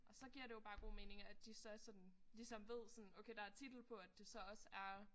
Og så giver det jo bare god mening at de så er sådan ligesom ved sådan okay der titel på at det så også er